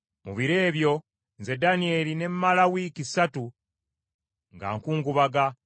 Mu biro ebyo, nze Danyeri ne mmala wiiki ssatu nga nkungubaga.